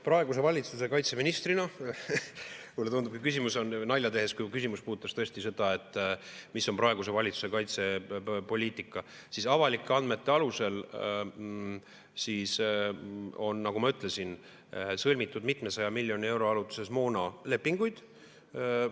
Praeguse valitsuse kaitseministrina mulle tundub – ma teen nalja –, et kui küsimus puudutas seda, mis on praeguse valitsuse kaitsepoliitika, siis avalike andmete alusel on, nagu ma ütlesin, sõlmitud mitmesaja miljoni euro ulatuses moonalepinguid.